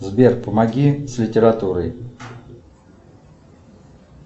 сбер помоги с литературой